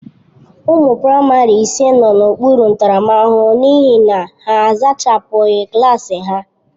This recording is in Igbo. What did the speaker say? Ụmụ praịmarị ise nọ n'okpuru ntaramahụhụ n'ihi na ha a zachapụghị klaasị ha.